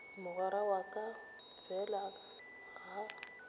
mogwera wa ka fela ga